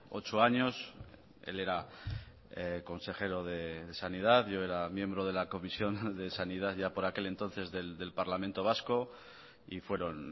ocho años él era consejero de sanidad yo era miembro de la comisión de sanidad ya por aquel entonces del parlamento vasco y fueron